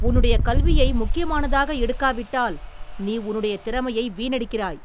உன்னுடைய கல்வியை முக்கியமானதாக எடுக்காவிட்டால் நீ உன்னுடைய திறமையை வீணடிக்கிறாய்.